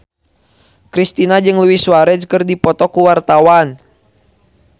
Kristina jeung Luis Suarez keur dipoto ku wartawan